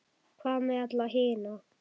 Hvað með alla hina?